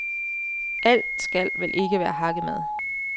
Alt skal vel ikke være hakkemad.